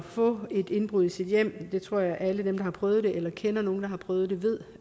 få et indbrud i sit hjem det tror jeg alle dem der har prøvet det eller kender nogen der har prøvet det ved